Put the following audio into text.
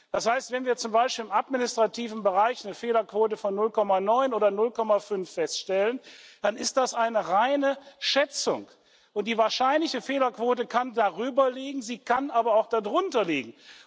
Das heißt, wenn wir zum Beispiel im administrativen Bereich eine Fehlerquote von 0,9 oder 0,5 feststellen, dann ist das eine reine Schätzung, und die wahrscheinliche Fehlerquote kann darüber liegen, sie kann aber auch darunter liegen.